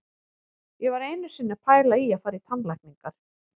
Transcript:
Ég var einu sinni að pæla í að fara í tannlækningar.